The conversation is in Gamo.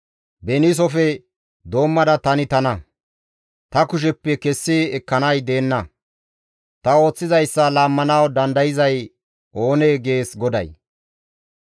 Beniisofe doommada tani tana; ta kusheppe kessi ekkanay deenna; ta ooththizayssa laammanawu dandayzay oonee?» gees GODAY.